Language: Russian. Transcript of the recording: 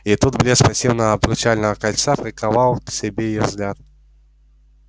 и тут блеск массивного обручального кольца приковал к себе её взгляд